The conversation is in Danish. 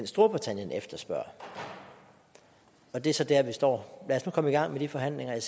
storbritannien efterspørger det er så der vi står lad os nu komme i gang med de forhandlinger jeg